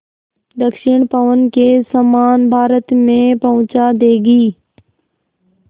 दक्षिण पवन के समान भारत में पहुँचा देंगी